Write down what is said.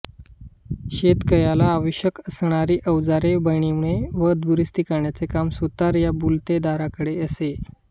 शेतकयाला आवश्यक असणारी अवजारे बनविणे व दुरुस्ती करण्याचे काम सुतार या बलुतेदाराकडे असे